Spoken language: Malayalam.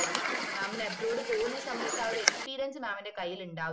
mam ന് abroad പോവ്ന്ന സമയത്‌ ആഹ് ഒരു experiencemam ന്റെ കയ്യിൽ ഉണ്ടാവുമായിരുന്നു